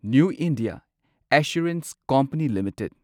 new India assurance company limited